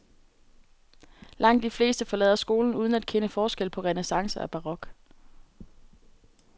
Langt de fleste forlader skolen uden at kende forskel på renæssance og barok.